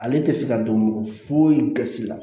Ale tɛ se ka dɔn mɔgɔ foyi gasi la